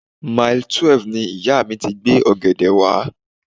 Mile twelve ni ìyá mi ti gbé ọ̀gẹ̀dẹ̀ wá.